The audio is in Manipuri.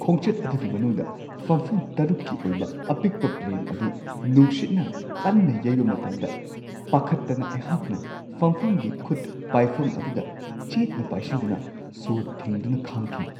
ꯈꯣꯡꯆꯠ ꯑꯗꯨꯒꯤ ꯃꯅꯨꯡꯗ ꯐꯝꯐꯝ ꯶ꯀꯤ ꯑꯣꯏꯕ ꯑꯄꯤꯛꯄ ꯄ꯭ꯂꯦꯟ ꯑꯗꯨ ꯅꯨꯡꯁꯤꯠꯅ ꯀꯟꯅ ꯌꯩꯕ ꯃꯇꯝꯗ ꯄꯥꯈꯠꯇꯅ ꯑꯩꯍꯥꯛꯅ ꯐꯝꯐꯝꯒꯤ ꯈꯨꯠ-ꯄꯥꯏꯐꯝ ꯑꯗꯨꯗ ꯆꯦꯠꯅ ꯄꯥꯏꯁꯤꯟꯗꯨꯅ ꯁꯣꯔ ꯊꯤꯡꯗꯨꯅ ꯈꯥꯡꯈꯤ ꯫